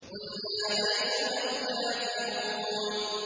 قُلْ يَا أَيُّهَا الْكَافِرُونَ